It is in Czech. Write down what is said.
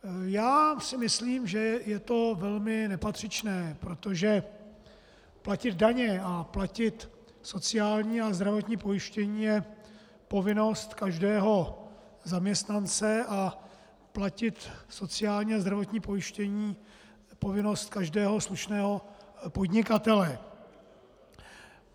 Já si myslím, že je to velmi nepatřičné, protože platit daně a platit sociální a zdravotní pojištění je povinnost každého zaměstnance a platit sociální a zdravotní pojištění je povinnost každého slušného podnikatele.